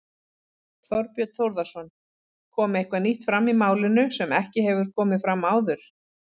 Þorbjörn Þórðarson: Kom eitthvað nýtt fram í málinu sem ekki hefur komið fram áður?